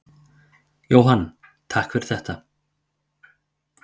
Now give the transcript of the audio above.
Jóhann: Takk fyrir þetta.